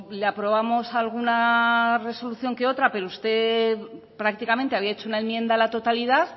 le aprobamos alguna resolución que otra pero usted prácticamente había hecho una enmienda a la totalidad